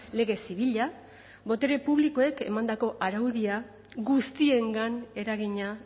lege zibila botere publikoek emandako araudia guztiengan eragina